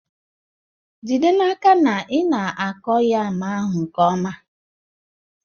Jide n'aka na ị na-akụ yam ahụ nke ọma